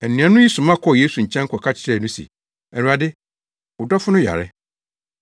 Anuanom yi soma kɔɔ Yesu nkyɛn kɔka kyerɛɛ no se, “Awurade, wo dɔfo no yare.”